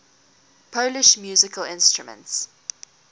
polish musical instruments